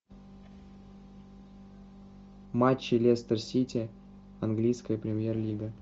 матчи лестер сити английская премьер лига